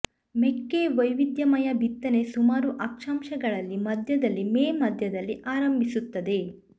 ಮೆಕ್ಕೆ ವೈವಿಧ್ಯಮಯ ಬಿತ್ತನೆ ಸುಮಾರು ಅಕ್ಷಾಂಶಗಳಲ್ಲಿ ಮಧ್ಯದಲ್ಲಿ ಮೇ ಮಧ್ಯದಲ್ಲಿ ಆರಂಭಿಸುತ್ತದೆ